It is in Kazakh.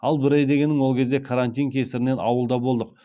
ал бір ай дегенің ол кезде карантин кесірінен ауылда болдық